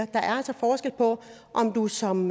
der er altså forskel på om du som